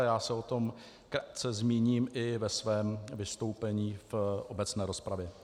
A já se o tom krátce zmíním i ve svém vystoupení v obecné rozpravě.